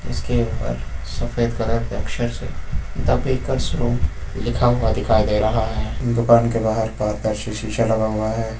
इसके ऊपर सफेद कलर के अक्षर से थे बेकर्स रूम लिखा हुआ दिखाई दे रहा है दुकान के बाहर पारदर्शी शीशा लगा हुआ है।